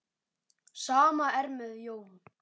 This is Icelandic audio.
Sama er með Jón.